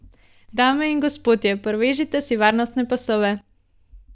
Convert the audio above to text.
Dame in gospodje, privežite si varnostne pasove.